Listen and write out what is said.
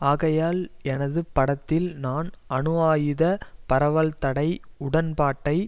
ஆகையால் எனது படத்தில் நான் அணு ஆயுத பரவல் தடை உடன்பாட்டை